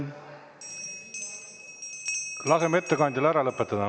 Laseme ettekandjal lõpetada.